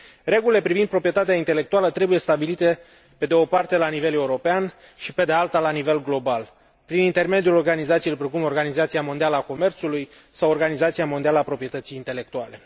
Regulile privind proprietatea intelectuală trebuie stabilite pe de o parte, la nivel european și, pe de alta, la nivel global, prin intermediul organizațiilor precum Organizația Mondială a Comerțului sau Organizația Mondială a Proprietății Intelectuale.